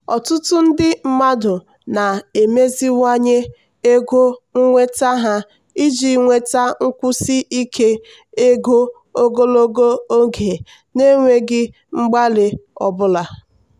ọtụtụ ndị mmadụ na-emeziwanye ego nnweta ha iji nweta nkwụsi ike ego ogologo oge n'enweghị mgbalị ọ bụla.